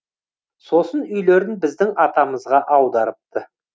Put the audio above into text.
сосын үйлерін біздің атамызға аударыпты